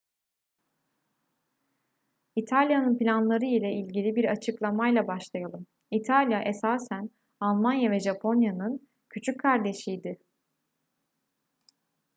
i̇talya'nın planları ile ilgili bir açıklamayla başlayalım. i̇talya esasen almanya ve japonya'nın küçük kardeşi idi